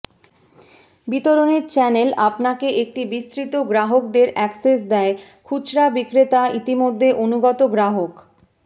বিতরণের চ্যানেল আপনাকে একটি বিস্তৃত গ্রাহকদের অ্যাক্সেস দেয় খুচরা বিক্রেতা ইতিমধ্যে অনুগত গ্রাহক